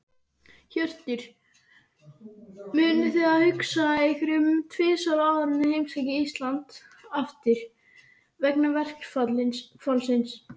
Hjörtur: Munuð þið hugsa ykkur um tvisvar áður en þið heimsækið Íslands aftur, vegna verkfallsins?